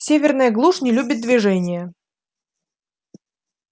северная глушь не любит движения